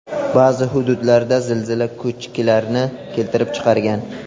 Ba’zi hududlarda zilzila ko‘chkilarni keltirib chiqargan.